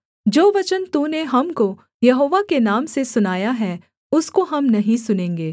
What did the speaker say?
जो वचन तूने हमको यहोवा के नाम से सुनाया है उसको हम नहीं सुनेंगे